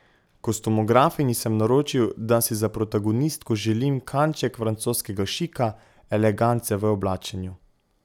Kostumografinji sem naročil, da si za protagonistko želim kanček francoskega šika, elegance v oblačenju.